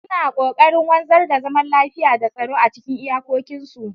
Suna kokarin wanzar da zaman lafiya da tsaro a cikin iyakokinsu.